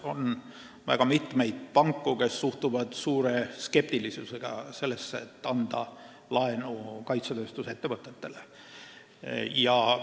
On väga mitmeid panku, kes suhtuvad suure skeptilisusega sellesse, et kaitsetööstusettevõtetele laenu anda.